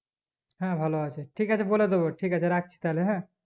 হ্যাঁ ভালোআছে ঠিকআছে বলে দোবো ঠিক আছে রাখছি তহলে হ্যাঁ